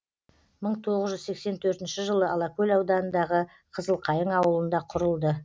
мың тоғыз жүз сексен төртінші жылы алакөл ауданындағы қызылқайың ауылында құрылды